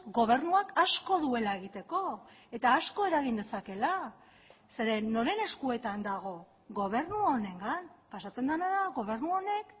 gobernuak asko duela egiteko eta asko eragin dezakeela zeren noren eskuetan dago gobernu honengan pasatzen dena da gobernu honek